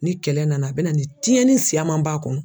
Ni kɛlɛ nana a bɛ na ni tiɲɛni siyaman b'a kɔnɔ.